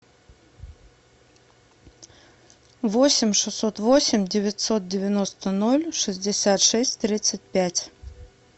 восемь шестьсот восемь девятьсот девяносто ноль шестьдесят шесть тридцать пять